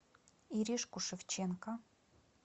иришку шевченко